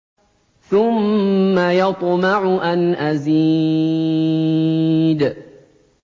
ثُمَّ يَطْمَعُ أَنْ أَزِيدَ